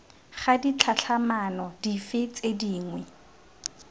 ga ditlhatlhamano dife tse dingwe